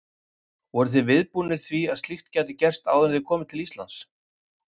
Voruð þið viðbúnir því að slíkt gæti gerst áður en þið komuð til Íslands?